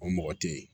O mɔgɔ tɛ ye